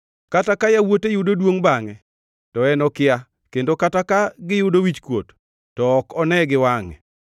Kata ka yawuote yudo duongʼ bangʼe, to en okia kendo kata ka giyudo wichkuot, to ok one gi wangʼe.